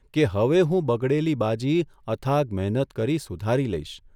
કે હવે હું બગડેલી બાજી અથાગ મહેનત કરી સુધારી લઇશ.